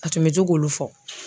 A tun bɛ to k'olu fɔ.